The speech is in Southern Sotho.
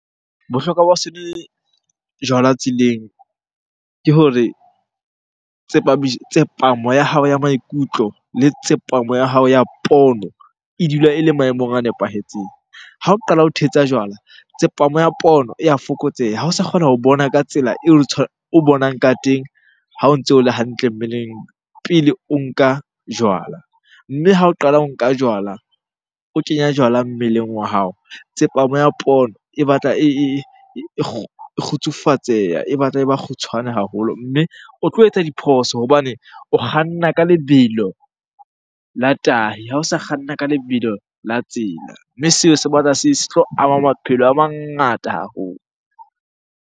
Bohlokwa ba ho se nwe jwala tseleng ke hore tsepamo ya hao ya maikutlo le tsepamo ya hao ya pono e dula ele maemong a nepahetseng. Ha o qala ho thetsa jwala, tsepamo ya pono e ya fokotseha. Ha o sa kgona ho bona ka tsela eo o bonang ka teng ha o ntso o le hantle mmeleng pele o nka jwala. Mme ha o qala o nka jwala, o kenya jwala mmeleng wa hao. Tsepamo ya pono e batla e kgutsufatseha, e batla e ba kgutshwane haholo. Mme o tlo etsa diphoso hobane o kganna ka lebelo la tahi, ha ho sa kganna ka lebelo la tsela. Mme seo se batla se tlo ama maphelo a mangata haholo.